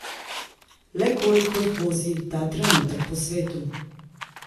Le koliko jih vozi ta trenutek po svetu?